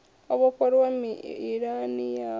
o vhofholowa mililani yanu ya